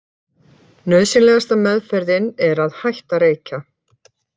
Nauðsynlegasta meðferðin er að hætta að reykja.